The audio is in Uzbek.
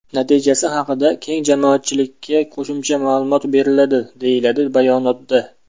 Natijasi haqida keng jamoatchilikka qo‘shimcha ma’lumot beriladi”, deyiladi bayonotda.